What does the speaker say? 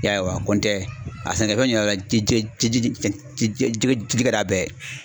Ya ye wa kɔntɛ a sɛnɛfɛn ka d'a bɛɛ ye.